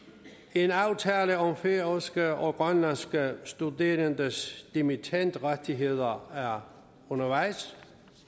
en aftale om færøske og grønlandske studerendes dimittendrettigheder er undervejs